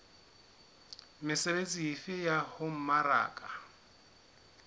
mesebetsi efe ya ho mmaraka